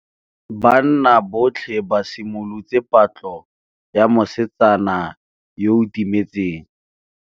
Banna botlhê ba simolotse patlô ya mosetsana yo o timetseng.